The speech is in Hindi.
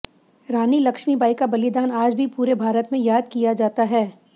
रानी लक्ष्मीबाई का बलिदान आज भी पूरे भारत में याद किया जाता है